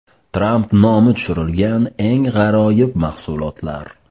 Tramp nomi tushirilgan eng g‘aroyib mahsulotlar.